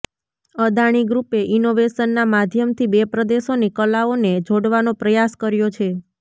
અદાણી ગ્રુપે ઈનોવેશનના માધ્યમથી બે પ્રદેશોની કલાઓને જોડવાનો પ્રયાસ કર્યો છે